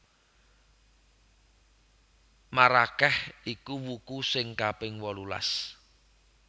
Marakeh iku wuku sing kaping wolulas